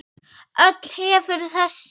Öll hefur þessi